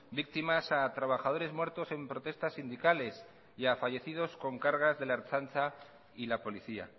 víctimas a trabajadores muertos en protestas sindicales y a fallecidos con cargas de la ertzaintza y la policía